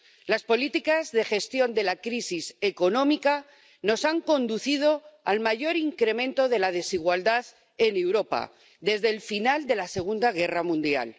Las políticas de gestión de la crisis económica nos han conducido al mayor incremento de la desigualdad en Europa desde el final de la Segunda Guerra Mundial.